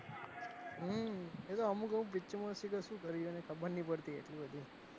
હમમ એતો અમુક લોકો picture માં શું કરી ખબર નહી પડતી એટલી બધી,